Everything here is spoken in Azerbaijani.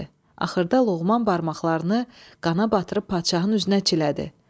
Axırda Loğman barmaqlarını qana batırıb padşahın üzünə çilədi.